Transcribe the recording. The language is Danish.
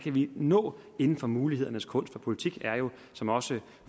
har vi nået inden for mulighedernes kunst politik er jo som også